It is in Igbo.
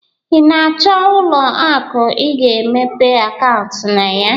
Ị na-achọ ụlọ aku ị ga-emepe akaụntụ na ya.